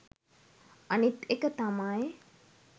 අනිත් එක තමයි